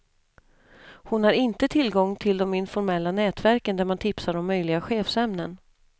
Hon har inte tillgång till de informella nätverken där man tipsar om möjliga chefsämnen.